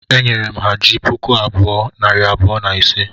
E nyere m ha ji puku bụọ,, nari bụọ, na ise